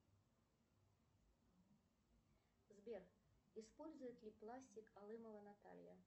сбер использует ли пластик алымова наталья